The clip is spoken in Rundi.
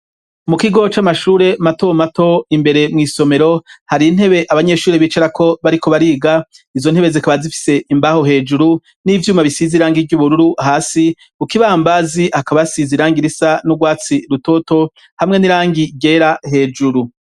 Mu kigo c'amashure mato mato imbere mu isomero hari intebe abanyeshuri bicara ko bariko bariga izo ntebe zikaba zifise imbaho hejuru n'ivyuma bisiziranga iry'ubururu hasi kuko ibambazi akaba sizirangirisa n'urwatsi rutoto hamwe n'irangi gera hejuru.